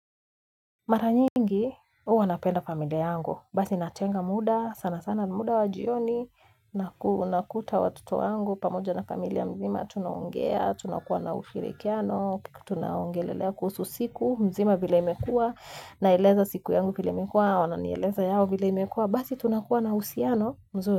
Mara nyingi, huwa napenda familia yangu, basi natenga muda, sana sana muda wa jioni, nakuta watoto yangu, pamoja na familia mzima, tunaongea, tunakuwa na usirikiano, tunaongelelea kuhusu siku, mzima vile imekua, naeleza siku yangu vile imekua, wananieleza yao vile imekua, basi tunakuwa na usirikiano, mzuri.